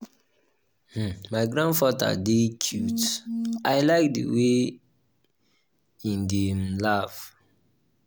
um my grandfather um dey cute i like the way e dey um laugh